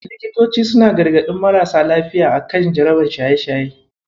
Likitoci suna gargaɗin marasa lafiya a kan jarabar shaye-shaye.